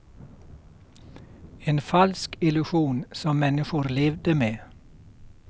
En falsk illusion som människor levde med.